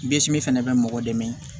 fɛnɛ bɛ mɔgɔ dɛmɛ